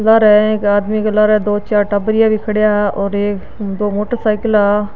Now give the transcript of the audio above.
लारे एक आदमी के लारे दो चार टाबरीया भी खड़या और एक दो मोटर साईकिला --